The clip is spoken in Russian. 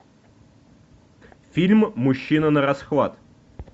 фильм мужчина нарасхват